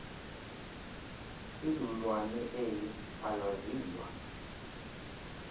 ilulwane eli alaziwa